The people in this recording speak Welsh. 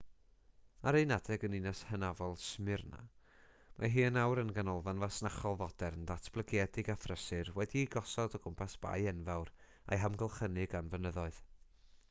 ar un adeg yn ninas hynafol smyrna mae hi yn awr yn ganolfan fasnachol fodern ddatblygedig a phrysur wedi'i gosod o gwmpas bae enfawr a'i hamgylchynu gan fynyddoedd